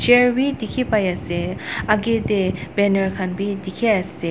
chair vi dikhipaiase akae tae banner khan bi dikhiase.